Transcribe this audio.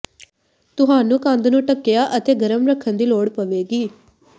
ਤੁਹਾਨੂੰ ਕੰਧ ਨੂੰ ਢੱਕਿਆ ਅਤੇ ਗਰਮ ਰੱਖਣ ਦੀ ਲੋੜ ਪਵੇਗੀ